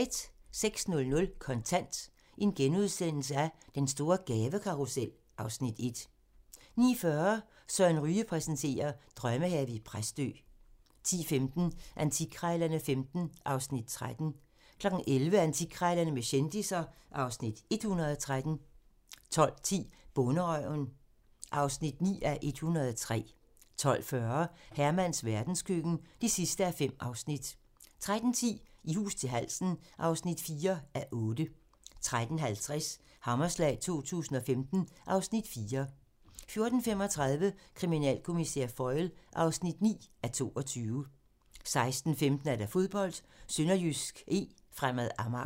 06:00: Kontant: Den store gavekortkarrusel (Afs. 1)* 09:40: Søren Ryge præsenterer: Drømmehave i Præstø 10:15: Antikkrejlerne XV (Afs. 13) 11:00: Antikkrejlerne med kendisser (Afs. 113) 12:10: Bonderøven (9:103) 12:40: Hermans verdenskøkken (5:5) 13:10: I hus til halsen (4:8) 13:50: Hammerslag 2015 (Afs. 4) 14:35: Kriminalkommissær Foyle (9:22) 16:15: Fodbold: SønderjyskE-Fremad Amager